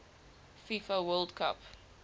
fifa world cup